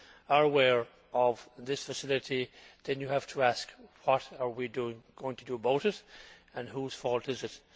are aware of this facility, then you have to ask what are we going to do about it, and whose fault is it.